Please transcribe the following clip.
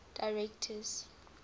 directors